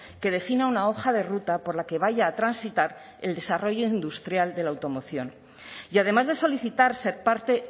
que defina una hoja de ruta por la que vaya a transitar el desarrollo industrial de la automoción y además de solicitar ser parte